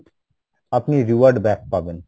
আপনি reward back পাবেন